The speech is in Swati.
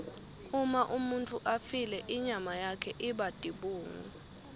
uma umuntfu afile inyama yakhe iba tibungu